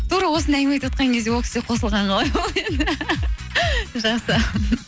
тура осындай әңгіме айтып отырған кезде ол кісі де қосылғаны жақсы